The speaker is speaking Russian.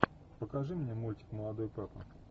покажи мне мультик молодой папа